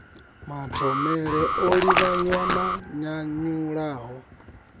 mathomele o livhanywa na nyanyulaho